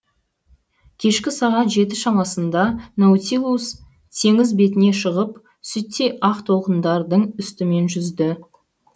кешкі сағат жеті шамасында наутилус теңіз бетіне шығып сүттей ақ толқындардың үстімен жүзді